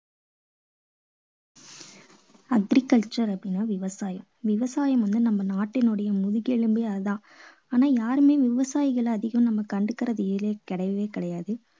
அப்படி கஷட்டப்படறான் விவசாயி. விவசாயி வந்து நம்ம நாட்டினுடைய முதுக்கெலும்பே அது தான். ஆனா யாருமே விவசாயிகளை அதிகமா நம்ம கண்டுக்கறதுங்கறதே கிடையவே கிடையாது.